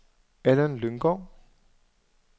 Allan Lynggaard